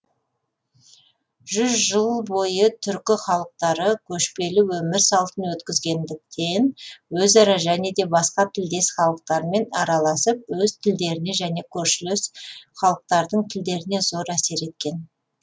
жүз жыл бойы түркі халықтары көшпелі өмір салтын өткізгендіктен өзара және де басқа тілдес халықтармен араласып өз тілдеріне және көршілес халықтардың тілдеріне зор әсер еткен